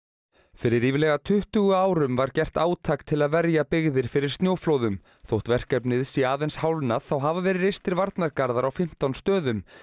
fyrir ríflega tuttugu árum var gert átak til að verja byggðir fyrir snjóflóðum þótt verkefnið sé aðeins hálfnað þá hafa verið reistir varnargarðar á fimmtán stöðum